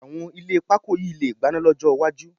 Àwọn ilé pakó yìí lè gbaná lọ́jọ́ iwájú